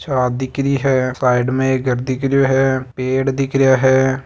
छत दिखरि है साइड में एक घर दिखरियो है पेड़ दिखरा है।